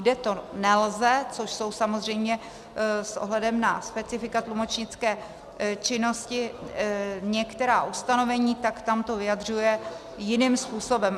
Kde to nelze, což jsou samozřejmě s ohledem na specifika tlumočnické činnosti některá ustanovení, tak tam to vyjadřuje jiným způsobem.